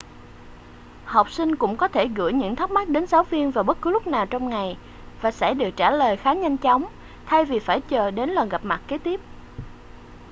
học sinh cũng có thể gửi những thắc mắc đến giáo viên vào bất cứ lúc nào trong ngày và sẽ được trả lời khá nhanh chóng thay vì phải chờ đến lần gặp mặt kế tiếp